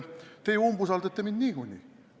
Teie umbusaldate mind niikuinii.